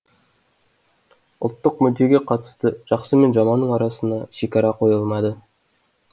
ұлттық мүддеге қатысты жақсы мен жаманның арасына шекара қойылмады